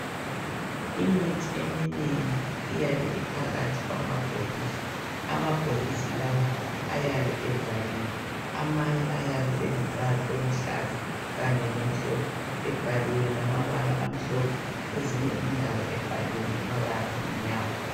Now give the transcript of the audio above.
Imithi eminengi iyabe iphakathi kwamabhokisi amabhokisi lawa ayabe evaliwe amanye ayabe elombala oluhlaza kanye lomhlophe ebhaliwe ngamabala amhlophe kwezinye indawo ebhaliwe ngamabala amnyama.